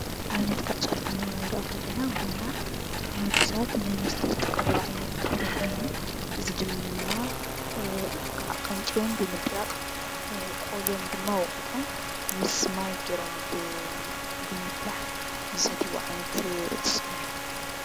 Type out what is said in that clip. ኣብነት ካብ ተፈጥሮ ክንርኢ ከለና ቡና ንወዲ ሰባት ንመስተ ዝጥቀምሉ ዓይነት ተኽሊ ኾይኑ እዚ ድማ ቃንጨኦም ብምድራቅ ቆልዮም ድማ ወቂጦም ምስ ማይ ገይሮም እ ብ ብምፍላሕ ዝሰትይዎ ዓይነት እፅ እዩ፡፡